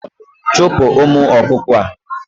Chupu umu okuko a